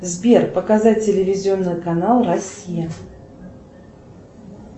сбер показать телевизионный канал россия